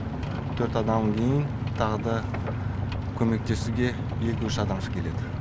төрт адамнан кейін тағы да көмектесуге екі үш адам шығып кетеді